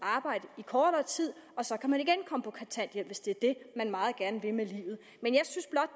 arbejde i kortere tid og så kan man igen komme på kontanthjælp hvis det er det man meget gerne vil med livet men